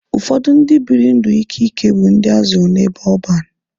Ụfọdụ ndị bịrị ndụ ike ike bụ ndị azụrụ n'ebe ọban.